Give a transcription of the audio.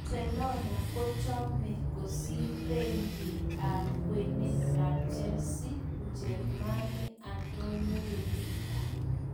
Barcelona kochome kosir Beki ab kwenet ab Chelsea, Mjerumani Antonio Rudiger.